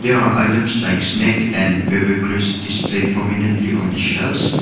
there are items like snack and displayed prominently on the shelves.